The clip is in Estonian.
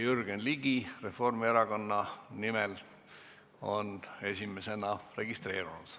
Jürgen Ligi Reformierakonna nimel on esimesena registreerunud.